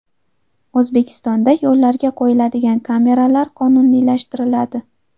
O‘zbekistonda yo‘llarga qo‘yiladigan kameralar qonuniylashtiriladi.